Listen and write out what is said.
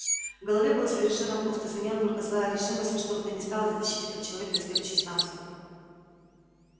в голове было совершенно пусто звенела только злая решимость во что бы то ни стало дотащить этого человека до следующей станции